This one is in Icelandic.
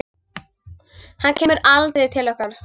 Hann kemur aldrei til okkar.